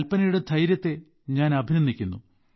കൽപനയുടെ ധൈര്യത്തിനെ ഞാൻ അഭിനന്ദിക്കുന്നു